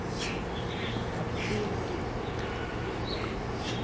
dzinnḓu